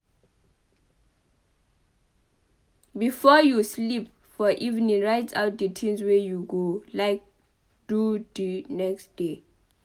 Before you sleep for evening write out di things wey you go like do di next day